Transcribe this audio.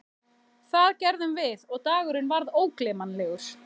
Það gerðum við og dagurinn varð ógleymanlegur.